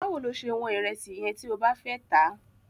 Báwo lo ṣe wọ́n ìrẹsì yẹn tí o bá fẹ́ tà á?